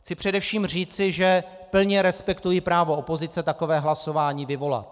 Chci především říci, že plně respektuji právo opozice takové hlasování vyvolat.